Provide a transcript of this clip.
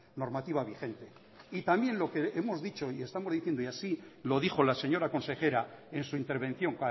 normativa vigente y también lo que hemos dicho y estamos diciendo y así lo dijo la señora consejera en su intervención